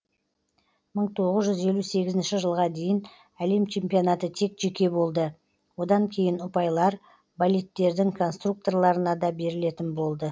мың тоғыз жүз елу сегізінші жылға дейін әлем чемпионаты тек жеке болды одан кейін ұпайлар болидтердің конструкторларына да берілетін болды